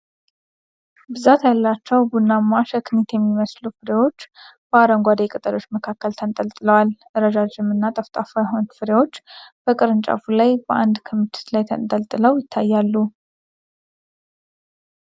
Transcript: ብዛት ያላቸው ቡናማ ሸክኒት የሚመስሉ ፍሬዎች በአረንጓዴ ቅጠሎች መካከል ተንጠልጥለዋል። ረዣዥም እና ጠፍጣፋ የሆኑት ፍሬዎች በቅርንጫፉ ላይ በአንድ ክምችት ላይ ተንጠልጥለው ይታያሉ።